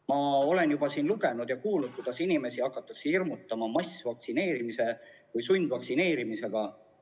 Ma olen juba siin lugenud ja kuulnud, kuidas inimesi hakatakse hirmutama massvaktsineerimise või sundvaktsineerimisega.